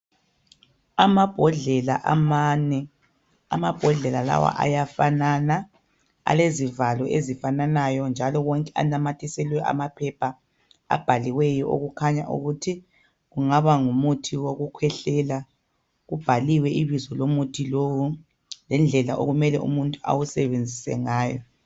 Amabhodlela amane amambodlela lawa ayafanana alezivalo ezifananayo njalo wonke anamathiselwe amaphepha okukhanya ukuthi kungaba ngumuthi wokukhwehlela kubhaliwe ibizo lomuthi lowu lendlela umuntu okumele awusebenzise ngawo